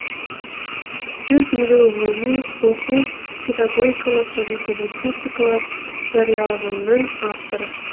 жүз елу ғылыми оқу педагогикалық және публицистикалық жарияланымның авторы